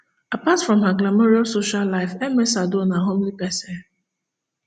apart from her glamourous social life ms addo na homely pesin